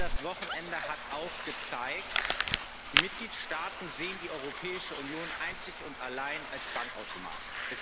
Aber ich glaube, das Wochenende hat auch gezeigt Die Mitgliedstaaten sehen die Europäische Union einzig und allein als Bankautomat.